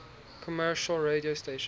commercial radio stations